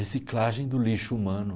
Reciclagem do lixo humano.